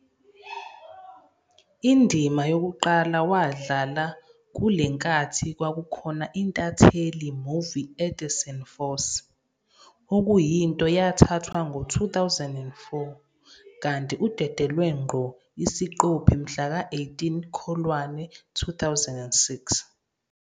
Indima yokuqala wadlala kule nkathi kwakukhona intatheli movie Edison Force, okuyinto yathathwa ngo 2004 kanti udedelwe ngqo isiqophi mhlaka 18 Kholwane 2006.